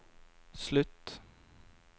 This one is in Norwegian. slutt